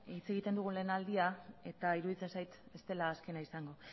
hitz egiten dugun lehen aldia eta iruditzen zait ez dela azkena izango